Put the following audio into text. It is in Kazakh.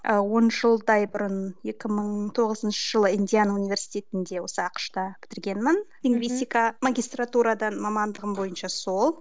ы он жылдай бұрын екі мың тоғызыншы жылы индиан университетінде осы ақш та бітіргенмін лингвистика магистратурадан мамандығым бойынша сол